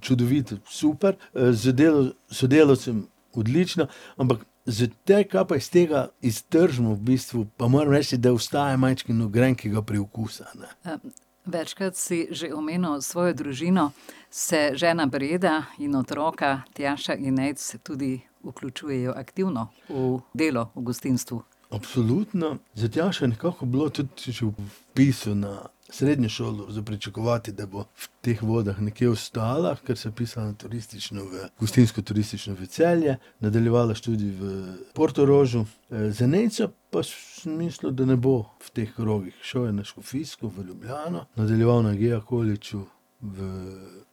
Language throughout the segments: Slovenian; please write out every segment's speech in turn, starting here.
čudovito, super. z delom sodelavcev odlično, ampak s tem, kar pa iz tega iztržimo v bistvu, pa moram reči, da ostaja majčkeno grenkega priokusa, ne. večkrat si že omenil svojo družino. Se žena Breda in otroka Tjaša in Nejc tudi vključujejo aktivno v delo v gostinstvu? Absolutno. Za Tjašo je nekako bilo tudi že ob vpisu na srednjo šolo za pričakovati, da bo v teh vodah nekje ostala, ker se je vpisala na turistično, gostinsko-turistično v Celje, nadaljevala študij v Portorožu. za Nejca pa sem mislil, da ne bo v teh krogih. Šel je na škofijsko v Ljubljano, nadaljeval na GEA Collegeu v Ljubljani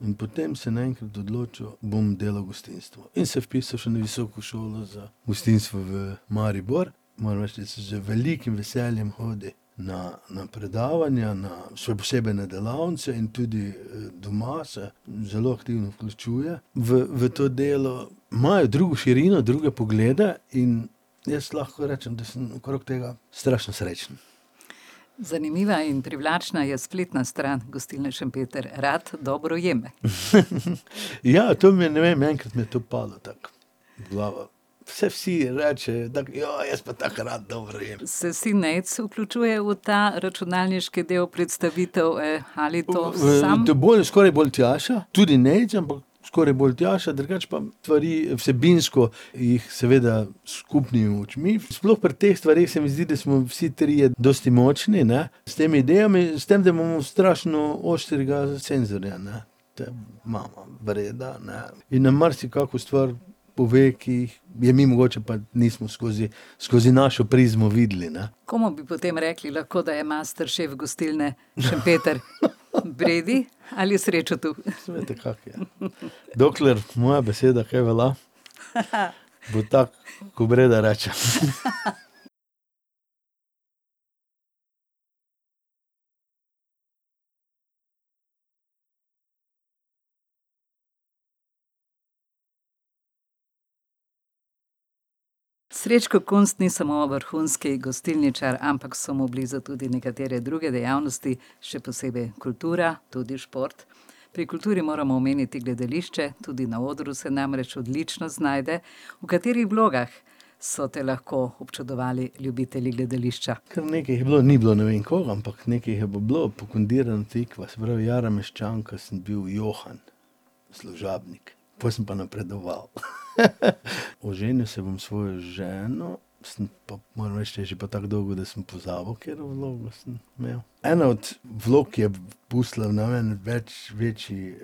in potem se je naenkrat odločil: "Bom delal v gostinstvu." In se je vpisal še na visoko šolo za gostinstvo v Maribor. Moram reči, da z velikim veseljem hodi na, na predavanja, še posebej na delavnice in tudi, doma se zelo aktivno vključuje v, v to delo. Imajo drugo širino, druge poglede in jaz lahko rečem, da sem okrog tega strašno srečen. Zanimiva in privlačna je spletna stran gostilne Šempeter: Rad dobro jem. Ja, to mi je, ne vem, enkrat mi je to padlo tako v glavo. Saj vsi rečejo tako: "Joj, jaz pa tako rad dobro jem." Se sin Nejc vključuje v ta računalniški del predstavitev? ali to sam? To je bolj ... skoraj bolj Tjaša. Tudi Nejc ampak, skoraj bolj Tjaša. Drugače pa stvari vsebinsko jih seveda s skupnimi močmi. Sploh pri teh stvareh se mi zdi, da smo vsi trije dosti močni, ne, s temi idejami. S tem, da imamo strašno ostrega senzorja, ne, to je mama, Breda, ne, in na marsikako stvar pove, ki jih je mi mogoče pa nismo skozi, skozi našo prizmo videli, ne. Komu bi potem rekli lahko, da je masterchef gostilne Šempeter? Bredi ali Srečotu? Saj veste, kako je. Dokler moja beseda kaj velja, bo tako, ko Breda reče. Srečo Kunst ni samo vrhunski gostilničar, ampak so mu blizu tudi nekatere druge dejavnosti, še posebej kultura, tudi šport. Pri kulturi moramo omeniti gledališče, tudi na odru se namreč odlično znajde. V katerih vlogah so te lahko občudovali ljubitelji gledališča? Kar nekaj jih je bilo. Ni bilo ne vem koliko, ampak nekaj jih je pa bilo. Pokondirna tikva, se pravi Jara meščanka, sem bil Johan, služabnik. Pol sem pa napredoval. Oženil se bom s svojo ženo, sem pa, moram reči je že pa tako dolgo, da sem pozabil, katero vlogo sem imel. Ena od vlog, ki je pustila na meni več, večji,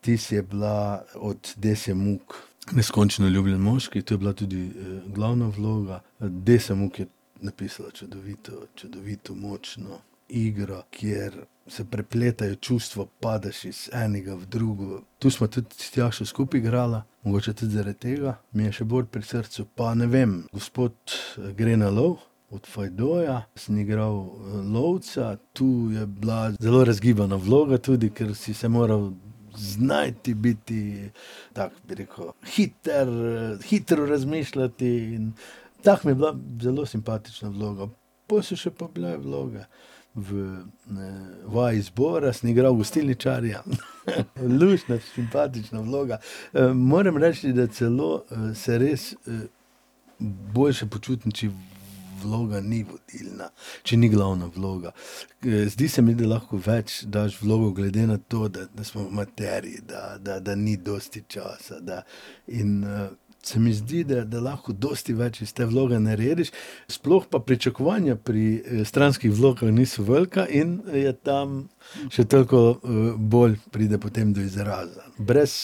vtis, je bila od Dese Muck Neskončno ljubljen moški. To je bila tudi, glavna vloga. Desa Muck je napisala čudovito, čudovito močno igro, kjer se prepletajo čustva, padeš iz enega v drugo. Tu sva tudi s Tjašo skupaj igrala. Mogoče tudi zaradi tega mi je še bolj pri srcu. Pa, ne vem, Gospod gre na lov od Feydeau sem igral, lovca. To je bila zelo razgibana vloga tudi kar si se moral znajti, biti tako, bi rekel, hitro, hitro razmišljati in tako mi je bila zelo simpatična vloga. Pol so še pa bile vloge v, ne, Vaji zbora sem igral gostilničarja, luštna, simpatična vloga. moram reči, da celo, se res, boljše počutim, če vloga ni vodilna, če ni glavna vloga. zdi se mi, da lahko več daš v vlogo, glede na to, da smo amaterji, da, da, da ni dosti časa, da ... In, se mi zdi, da, da lahko dosti več iz te vloge narediš, sploh pa pričakovanja pri, stranskih vlogah niso velika in je tam še toliko, bolj pride potem do izraza. Brez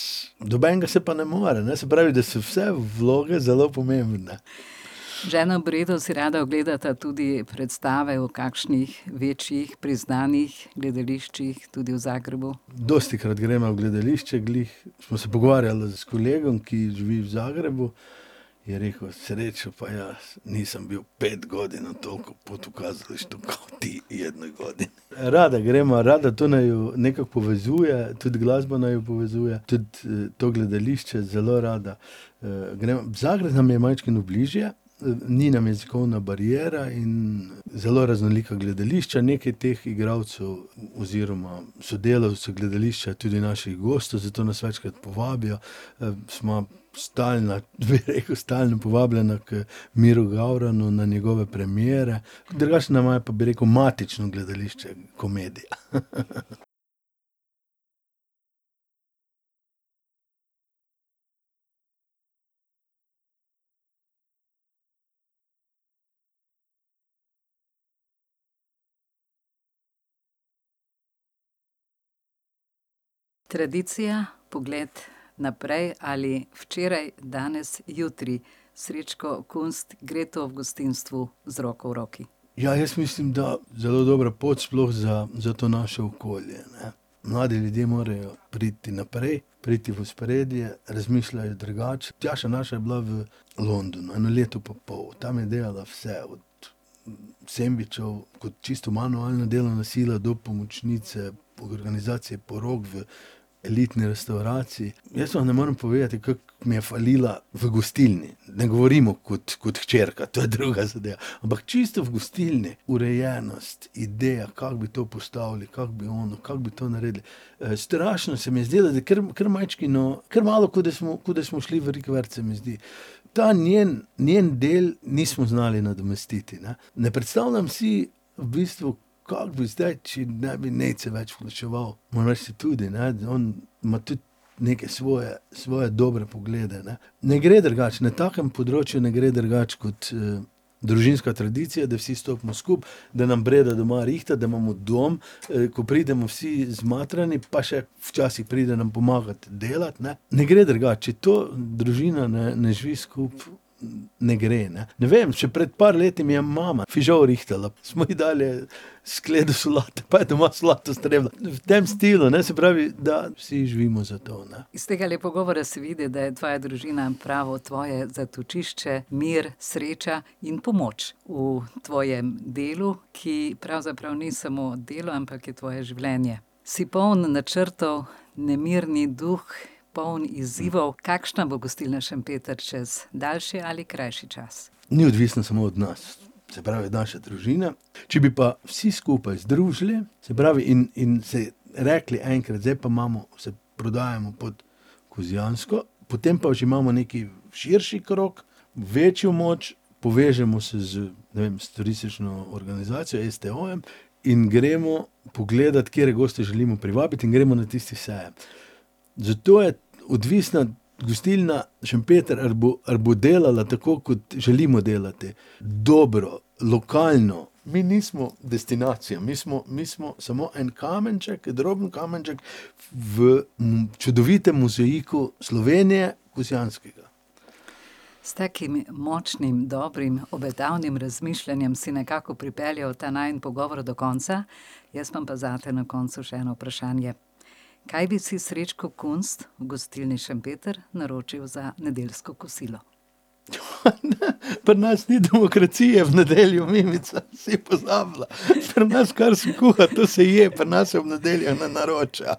nobenega se pa ne more, ne, se pravi, da so vse vloge zelo pomembne. Z ženo Bredo si rada ogledata tudi predstave v kakšnih večjih, priznanih gledališčih, tudi v Zagrebu. Dostikrat greva v gledališče. Glih sva se pogovarjala s kolegom, ki živi v Zagrebu. Je rekel: "Srečo, pa ja ..." Rada greva, rada. To naju nekako povezuje, tudi glasba naju povezuje. Tudi, to gledališče zelo rada, greva. Zagreb nam je majčkeno bližje, ni nam jezikovna bariera in zelo raznolika gledališča. Nekaj teh igralcev oziroma sodelavcev gledališča je tudi naših gostov, zato nas večkrat povabijo. sva stalna, bi rekel, stalno povabljena k Miru Gavranu na njegove premiere. Drugače nama je pa, bi rekel, matično gledališče komedija. Tradicija, pogled naprej ali včeraj, danes, jutri. Srečko Kunst, gre to v gostinstvu z roko v roki? Ja, jaz mislim, da zelo dobra pot, sploh za, za to naše okolje, ne. Mladi ljudje morajo priti naprej, priti v ospredje, razmišljajo drugače. Tjaša naša je bila v Londonu eno leto pa pol. Tam je delala vse, od sendvičev, tako čisto manualna delovna sila, do pomočnice, organizacije porok v elitni restavraciji. Jaz vam ne morem povedati, kako mi je falila v gostilni. Ne govorimo kot, kot hčerka, to je druga zadeva. Ampak čisto v gostilni, urejenost, ideja, kako bi to postavili, kako bi ono, kako bi to naredili. strašno se mi je zdelo, da kar, kar majčkeno, kar malo kot da smo, kot da smo šli v rikverc, se mi zdi. Ta njen, njen del nismo znali nadomestiti, ne. Ne prestavljam si v bistvu, kako bi zdaj, če ne bi Nejc se več vključeval. Moram reči tudi, ne, da on ima tudi neke svoje svoje dobre poglede, ne. Ne gre drugače, na takem področju ne gre drugače, kot, družinska tradicija, da vsi stopimo skupaj, da nam Breda doma rihta, da imamo dom, ko pridemo vsi zmatrani, pa še včasih pride nam pomagat delati, ne. Ne gre drugače. Če to družina ne, ne živi skupaj, ne gre, ne. Ne vem, še pred par leti mi je mama fižol rihtala. Smo ji dali skledo solate, pa je doma solato strebila. V tem stilu, ne, se pravi, da vsi živimo za to, ne. Iz tegale pogovora se vidi, da je tvoja družina pravo tvoje zatočišče, mir, sreča in pomoč v tvojem delu, ki pravzaprav ni samo delo, ampak je tvoje življenje. Si poln načrtov, nemirni duh, poln izzivov. Kakšna bo gostilna Šempeter čez daljši ali krajši čas? Ni odvisno smo od nas. Se pravi od naše družine. Če bi pa vsi skupaj združili, se pravi in, in si rekli enkrat: "Zdaj pa imamo, se prodajamo pod Kozjansko, potem pa že imamo nekaj širši krog, večjo moč, povežemo se z, ne vem, s turistično organizacijo, STO-jem in gremo pogledat, katere goste želimo privabiti, in gremo na tisti sejem. Zato je odvisna gostilna Šempeter ali bo, ali bo delala tako, kot želimo delati. Dobro, lokalno. Mi nismo destinacija, mi smo, mi smo samo en kamenček, droben kamenček v čudovitem mozaiku Slovenije, Kozjanskega. S takim močnim, dobrim, obetavnim razmišljanjem si nekako pripeljal ta najin pogovor do konca, jaz imam pa zate na koncu še eno vprašanje. Kaj bi si Srečko Kunst v gostilni Šempeter naročil za nedeljsko kosilo? Pri nas ni demokracije v nedeljo, Mimica. Si pozabila? Pri nas kar se kuha, to se je. Pri nas se ob nedeljah ne naročil.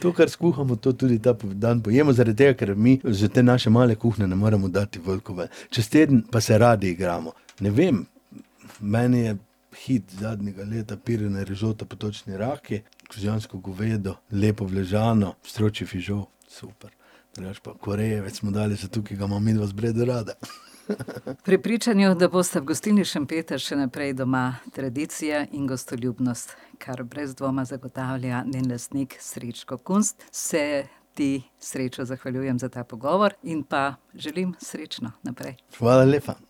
To, kar skuhamo, to tudi ta dan pojemo, zaradi tega, ker mi iz te naše male kuhinje ne moremo dati veliko ven. Čez teden pa se radi igramo. Ne vem. Meni je hit zadnjega leta pirina rižota, potočni raki, kozjansko govedo lepo uležano, stročji fižol, super. Drugače pa korejevec smo dali zato, ker ga imava midva z Bredo rada. V prepričanju, da bosta v gostilni Šempeter še naprej doma tradicija in gostoljubnost, kar brez dvoma zagotavlja njen lastnik, Srečko Kunst, se ti, Srečo, zahvaljujem za ta pogovor in pa želim srečno naprej. Hvala lepa.